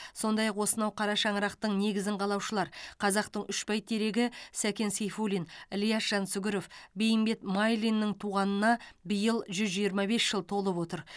сондай ақ осынау қара шаңырақтың негізін қалаушылар қазақтың үш бәйтерегі сәкен сейфуллин ілияс жансүгіров бейімбет майлиннің туғанына биыл жүз жиырма бес жыл толып отыр